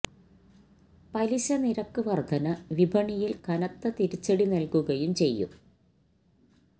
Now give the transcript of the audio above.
പലിശ നിരക്ക് വർധന വിപണിയിൽ കനത്ത തിരിച്ചടി നൽകുകയും ചെയ്യും